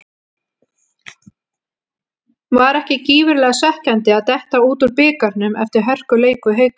Var ekki gífurlega svekkjandi að detta út úr bikarnum eftir hörkuleik við Hauka?